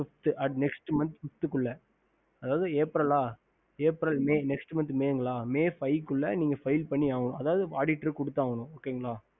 next month fifth உள்ள அதாவது april may five file பண்ணி அதாவது auditor குடுத்தவனும் okey